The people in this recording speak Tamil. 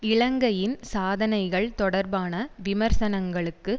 இலங்கையின் சாதனைகள் தொடர்பான விமர்சனங்களுக்கு